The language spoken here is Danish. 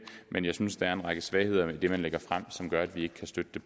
men jeg synes der er en række svagheder i det man lægger frem som gør at vi ikke kan støtte